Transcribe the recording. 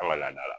An ka laada la